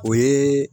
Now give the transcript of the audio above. O ye